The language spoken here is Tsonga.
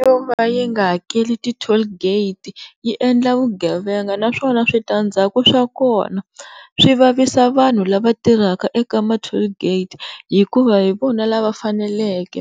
Yo va yi nga hakela ti-toll gate yi endla vugevenga naswona switandzhaku swa kona, swi vavisa vanhu lava tirhaka eka ma-toll gate hikuva hi vona lava faneleke